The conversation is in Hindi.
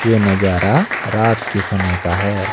ये नज़ारा रात के समय का है।